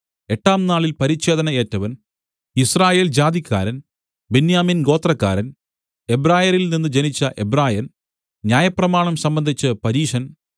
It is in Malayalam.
എട്ടാം നാളിൽ പരിച്ഛേദന ഏറ്റവൻ യിസ്രായേൽ ജാതിക്കാരൻ ബെന്യാമിൻ ഗോത്രക്കാരൻ എബ്രായരിൽനിന്ന് ജനിച്ച എബ്രായൻ ന്യായപ്രമാണം സംബന്ധിച്ച് പരീശൻ